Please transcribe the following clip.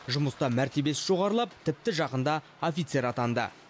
жұмыста мәртебесі жоғарылап тіпті жақында офицер атанды